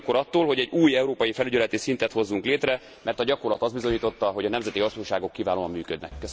Óvnék ugyanakkor attól, hogy egy új európai felügyeleti szintet hozzunk létre, mert a gyakorlat azt bizonyította, hogy a nemzeti hatóságok kiválóan működnek.